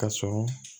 Ka sɔrɔ